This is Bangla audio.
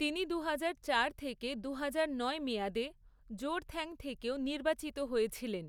তিনি দুহাজার চার থেকে দুহাজার নয় মেয়াদে জোড়থ্যাং থেকেও নির্বাচিত হয়েছিলেন।